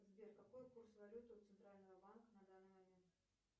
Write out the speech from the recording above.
сбер какой курс валют у центрального банка на данный момент